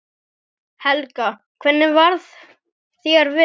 Helga: Hvernig varð þér við?